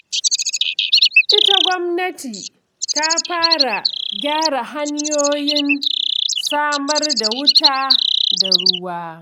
Ita gwamnati ta fara gyara hanyoyin samar da wuta da ruwa.